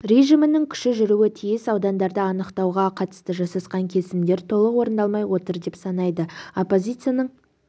режимінің күші жүруі тиіс аудандарды анықтауға қатысты жасасқан келісімдер толық орындалмай отыр деп санайды оппозицияның